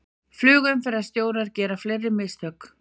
Flugumferðarstjórar gera fleiri mistök